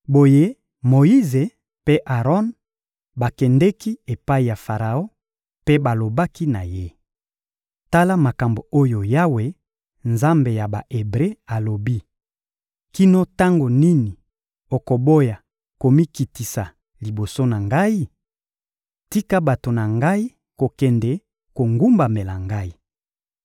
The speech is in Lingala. Boye Moyize mpe Aron bakendeki epai ya Faraon mpe balobaki na ye: «Tala makambo oyo Yawe, Nzambe ya Ba-Ebre, alobi: ‹Kino tango nini okoboya komikitisa liboso na Ngai? Tika bato na Ngai kokende kogumbamela Ngai.